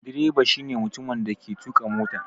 Direba shi ne mutumin da yake tuƙa mota.